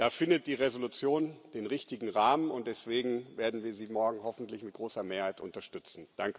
Da findet die Entschließung den richtigen Rahmen, und deswegen werden wir sie morgen hoffentlich mit großer Mehrheit unterstützen.